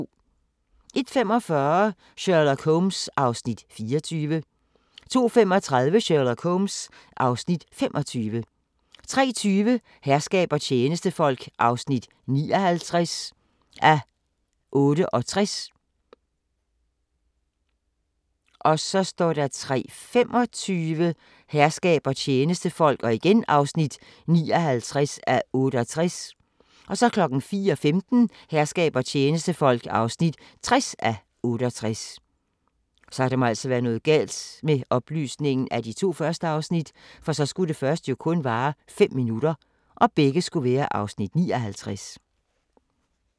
01:45: Sherlock Holmes (Afs. 24) 02:35: Sherlock Holmes (Afs. 25) 03:20: Herskab og tjenestefolk (59:68) 03:25: Herskab og tjenestefolk (59:68) 04:15: Herskab og tjenestefolk (60:68)